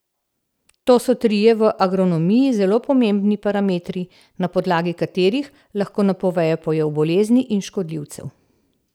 To so trije v agronomiji zelo pomembni parametri, na podlagi katerih lahko napovejo pojav bolezni in škodljivcev.